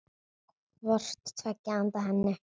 hvort tveggja handa henni.